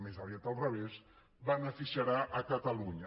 més aviat al revés beneficiarà catalunya